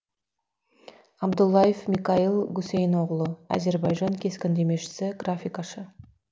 абдуллаев микаил гусейноғлы әзірбайжан кескіндемешісі графикашы